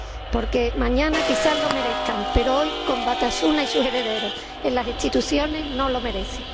Porque mañana quizá lo merezca, pero hoy, con Batasuna y sus herederos en las instituciones, no lo merece.